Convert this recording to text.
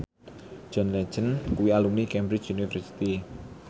John Legend kuwi alumni Cambridge University